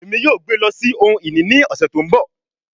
Emi yoo gbe lọ si ohun-ini ni ọsẹ to nbọ